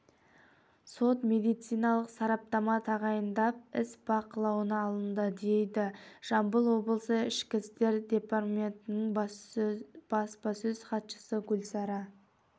сот-медициналық сараптама тағайындалып іс бақылауына алынды дейді жамбыл облысы ішкі істер департаментінің баспасөз хатшысы гүлсара